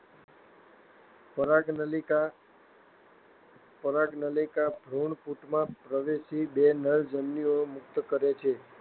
પરાગનલિકા ભ્રૂણપૂટમાં પ્રવેશી બે નરજન્યુઓ મુક્ત કરે છે.